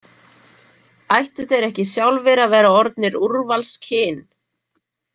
Ættu þeir ekki sjálfir að vera orðnir úrvalskyn?